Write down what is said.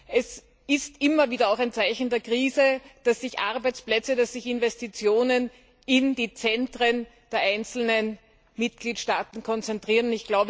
Es ist immer wieder auch ein Zeichen der Krise, dass sich Arbeitsplätze, Investitionen in den Zentren der einzelnen Mitgliedstaaten konzentrieren.